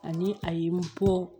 Ani a ye n bɔ